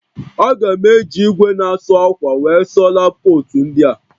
A ga m eji igwe na asụ akwa wee sụọ lab kootu ndịa